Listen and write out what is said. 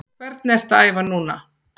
Hvernig ertu að æfa núna?